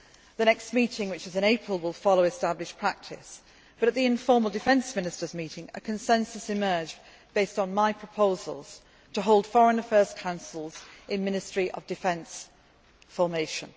time. The next meeting in April will follow established practice, but at the informal Defence Ministers' meeting, a consensus emerged based on my proposals to hold Foreign Affairs Councils in Ministry of Defence formation.